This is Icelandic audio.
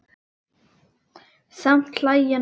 Samt hlæja nú menn.